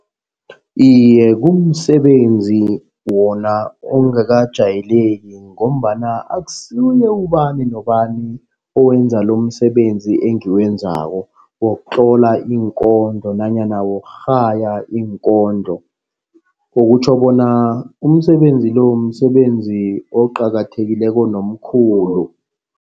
Iye, kumsebenzi wona ongakajayeleki ngombana akusuye ubani nobani owenza umsebenzi engiwenzako wokutlola iinkondlo nanyana wokurhaya iinkondlo. Okutjho bona umsebenzi lo, msebenzi oqakathekileko nomkhulu.